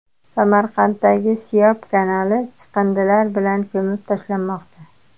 Samarqanddagi Siyob kanali chiqindilar bilan ko‘mib tashlanmoqda .